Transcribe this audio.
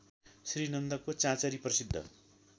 श्रीनन्दको चाँचरी प्रसिद्ध